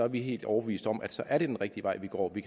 vi helt overbevist om at så er det den rigtige vej vi går vi